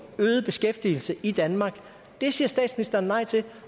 øget beskæftigelse i danmark det siger statsministeren nej til